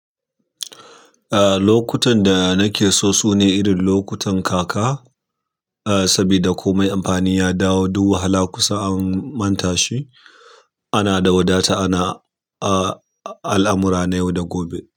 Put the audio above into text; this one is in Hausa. Lokutan da nake so su ne irin lokutan kaka, saboda komai amfani ya dawo duk wahala kusa an manta shi. Ana da wadata ana, al'amura na yau da gobe.